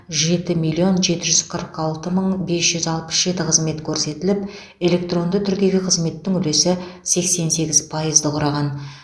жеті миллион жеті жүз қырық алты мың бес жүз алпыс жеті қызмет көрсетіліп электронды түрдегі қызметтің үлесі сексен сегіз пайызды құраған